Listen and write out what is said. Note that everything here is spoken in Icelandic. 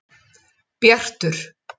Bjartur